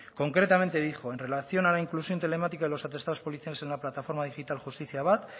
concretamente dijo en relación a la inclusión telemática en los atestados policiales en la plataforma digital jusitiziabat